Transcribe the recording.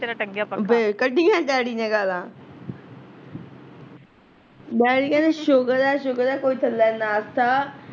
ਫੇਰ ਕੱਢੀਆਂ ਡੈਡੀ ਨੇ ਗਾਲਾ ਡੈਡੀ ਕਹਿੰਦੇ ਸੁਕਰ ਐ ਸੁਕਰ ਐ ਕੋਈ ਥੱਲੇ ਨਸ ਤਾ